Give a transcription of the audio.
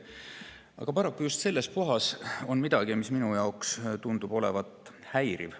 Aga paraku on just selles kohas midagi, mis minu jaoks tundub olevat häiriv.